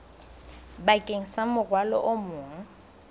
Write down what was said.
bakeng sa morwalo o mong